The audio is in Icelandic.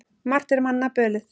Margt er manna bölið.